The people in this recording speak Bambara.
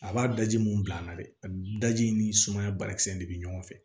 A b'a daji mun bila a la dɛ a daji ni sumaya banakisɛ de bɛ ɲɔgɔn fɛ